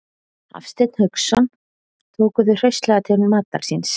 Hafsteinn Hauksson: Tóku þau hraustlega til matar síns?